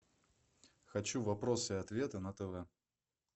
хочу вопросы и ответы на тв